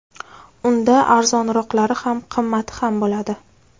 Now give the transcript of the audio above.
Unda arzonroqlari ham, qimmati ham bo‘ladi.